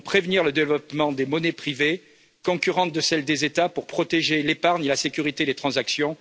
Nous devons prévenir le développement des monnaies privées concurrentes de celles des États pour protéger l'épargne et la sécurité des transactions.